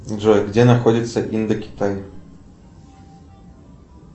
джой где находится индокитай